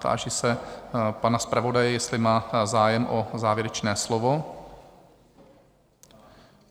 Táži se pana zpravodaje, jestli má zájem o závěrečné slovo?